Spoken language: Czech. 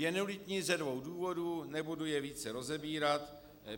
Je nulitní ze dvou důvodů - nebudu je více rozebírat.